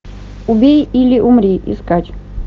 убей или умри искать